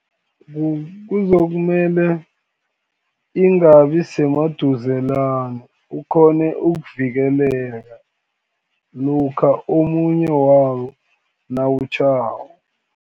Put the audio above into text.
Kuzokumele, ingabi semaduzelana ukghone ukuvikeleka, lokha omunye wawo nawutjhako.